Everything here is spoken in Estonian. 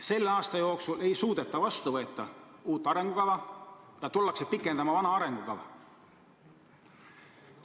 Selle aasta jooksul ei suudeta vastu võtta uut arengukava, vaid tullakse pikendama vana arengukava.